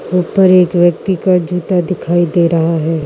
ऊपर एक व्यक्ति का जूत्ता दिखाई दे रहा है।